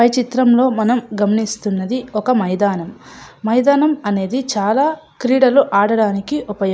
పై చిత్రం లో మనం గమనిస్తున్నాడు మైదానం అది చాలా ఆట క్రీడలకు ఉపయోగ పడుతుంది.